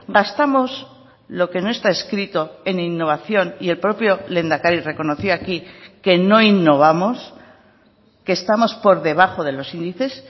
gastamos lo que no está escrito en innovación y el propio lehendakari reconoció aquí que no innovamos que estamos por debajo de los índices